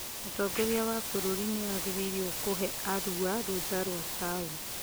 Mũtongoria wa bũrũri nĩagĩrĩirwo kũhe Arua rũtha rwa taũni